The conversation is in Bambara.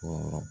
Wɔɔrɔ